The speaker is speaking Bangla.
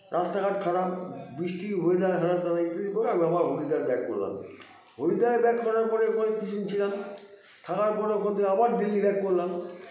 রাস্তাঘাট খারাপ বৃষ্টির weather খারাপ একটু এদিক ওদিক করে আমরা আবার হরিদ্বার back করলাম হরিদ্বারে back করার পরে এবারে কিছুদিন ছিলাম থাকার পরে ওখান থেকে আবার দিল্লি back করলাম